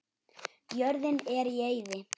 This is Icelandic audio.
Jörðin er í eyði.